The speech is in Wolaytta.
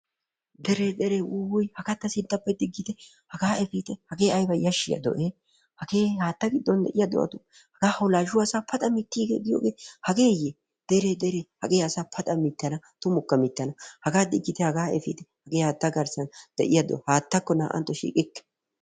Dere dere wuuwuy! haga ta sintappe efitte, haga diggite, hagee aybba yashshiya do'e! hage haatta giddon de'iyaa do'atu haga hawulashuwaa asa paxa mittigees giyoogee hageyye! hagee asa paxxakka mitanna tumukka mitana, haga efitte hage haatta garssan de'iyaa do'a, haattakko naa''antto shiiqikke.